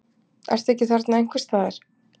Ertu ekki þarna einhvers staðar?